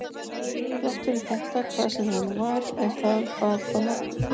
Þrátt fyrir þetta hvað sem það nú var, ef það var þá nokkuð.